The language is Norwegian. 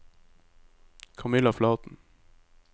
Camilla Flaten